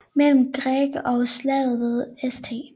Mellem Gregg og slaget ved St